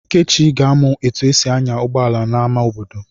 Ikechi ga-amụ etu esi anya ụgbọala n'amá obodo.